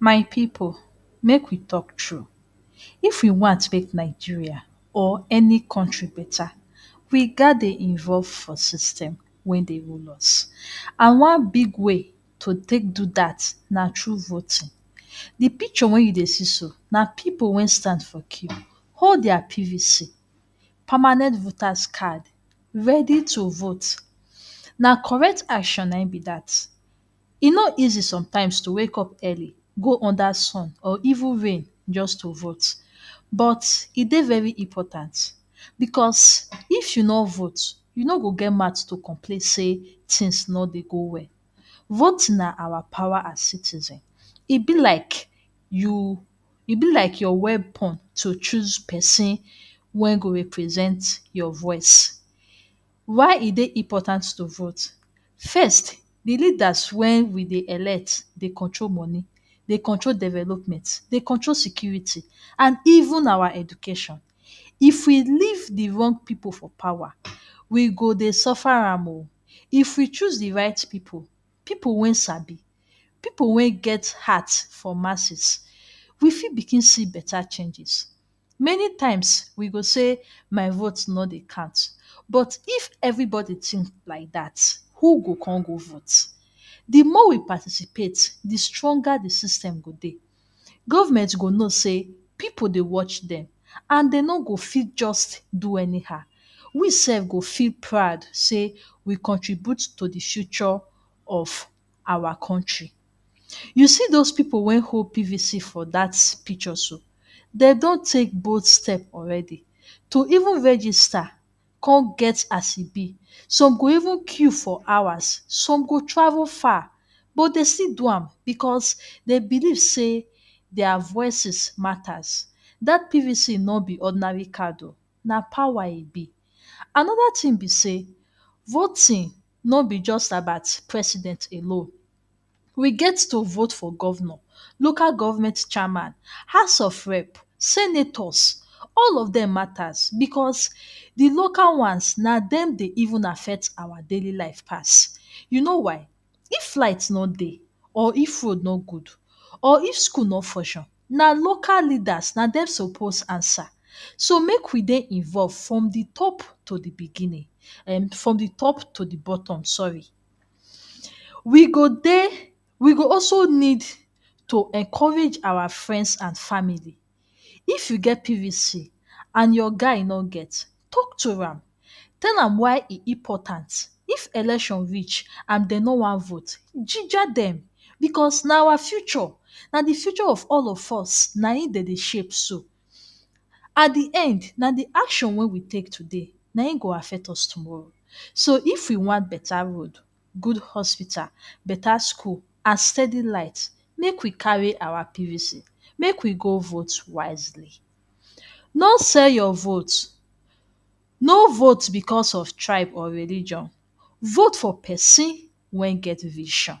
My pipu make we talk true, if you want make Nigeria or any country better we ghats dey involve for system wey dey rule us and one big way to take do dat na through voting. The picture wey you dey see so na pipu wey stand for queue hold their PVC (Permanent Voters Card) ready to vote. Na correct action na im be dat, e no easy sometimes to wake up early go under sun or even rain just to vote but e de very important because if you no vote you no go get mouth to complain sey things no dey go well, vote na our power as citizen. E be like you e be like your weapon to choose person wey go represent your voice. Why e dey important to vote? First, de leader wey we dey elect dey control money, dey control development, dey control security and even our education. If we leave de wrong pipu for power we go dey suffer am oo. If we choose de right pipu, pipu wey sabi, pipu wey get heart for masses we fit begin see better changes. Many times we go say “my vote no dey count” but if everybody think like dat who go come go vote? De more we participate, de stronger de system go dey. Government go know sey pipu dey watch dem and dey no go fit just do anyhow. We sef go feel proud sey we contribute to de future of our country. You see those pipu wey hold PVC for dat picture so, dey don take bold step already to even register come get as e be some go even queue for hours, some go travel far but dem still do am because dey believe sey their voices matters, dat PVC no be ordinary card na power e be. Another thing be sey voting no be just about president alone, we get to vote for governor, local government chairman, house of rep, senators all of dem matters because de local ones na dem dey even affect our daily life pass. You know why? If light no dey or if food no good or if school no function na local leaders na dem suppose answer, so make we dey involve from de top to de beginning um from de top to de bottom sorry. We go dey we go also need to encourage our friends and family, if you get PVC and your guy no get, talk to am tell am why e important. If election reach and dem no wan vote ginger dem because na our future na de future of all of use na im dem dey shape so. At de end na de action wey we take today na im go affect us tomorrow so if you wan better road, good hospital, better school and steady light make we carry our PVC make we go vote wisely. No sell your vote, no vote because of tribe or religion. Vote for person wey get vision